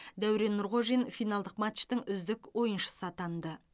дәурен нұрғожин финалдық матчтың үздік ойыншысы атанды